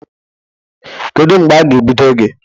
Kedu mgbe a ga-ebido gị?